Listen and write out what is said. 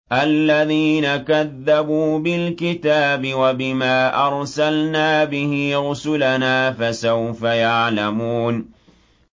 الَّذِينَ كَذَّبُوا بِالْكِتَابِ وَبِمَا أَرْسَلْنَا بِهِ رُسُلَنَا ۖ فَسَوْفَ يَعْلَمُونَ